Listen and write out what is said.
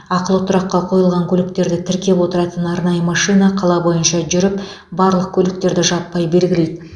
ақылы тұраққа қойылған көліктерді тіркеп отыратын арнайы машина қала бойынша жүріп барлық көліктерді жаппай белгілейді